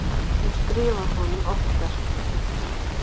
Hún skrifaði honum oftar.